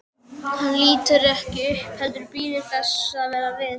Hann lítur ekki upp heldur bíður þess sem verða vill.